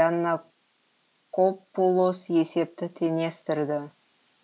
яннакопулос есепті теңестірді